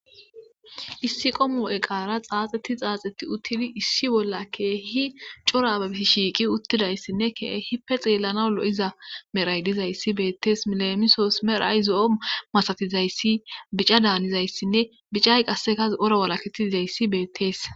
Issi qomu eqara xaaxeti xaaxetti uttidi issi bolla keehi corabi shiiqi uttidayssinne kee hippe xeellana lo'iza meray dizayssi beettees milemisoos meray zo'o masatizayssi bica daanizayssinne bicay qassekaz ora walaketi dizayssi beettees